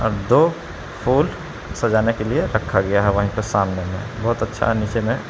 दो फूल सजाने के लिए रखा गया है वहीं पे सामने में बहुत अच्छा है नीचे में।